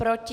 Proti?